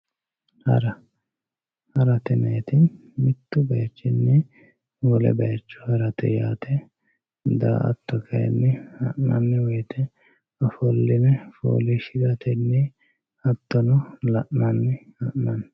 hara harate yinayiiti mittu bayiichinni wole bayiicho harate yaate daa"atto kayiinni ha'nanni woyte ofolline fooliishiratenni hattono la'nanni ha'nanni.